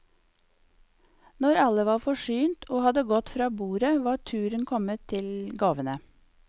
Når alle var forsynt og hadde gått fra bordet, var turen kommet til gavene.